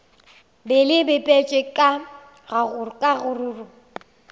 be le bipetšwe ka kgaruru